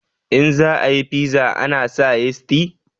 In za a yi fiza ana saka yisti